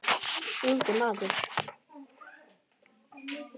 Ungi maður